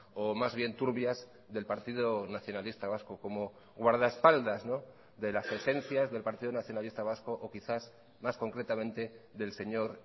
o más bien turbias del partido nacionalista vasco como guardaespaldas de las esencias del partido nacionalista vasco o quizás más concretamente del señor